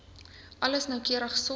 alles noukeurig sorg